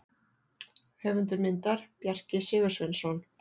Höfundur myndar: Bjarki Sigursveinsson.